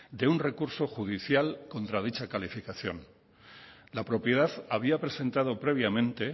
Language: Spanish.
de un recurso judicial contra dicha calificación la propiedad había presentado previamente